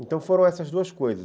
Então, foram essas duas coisas.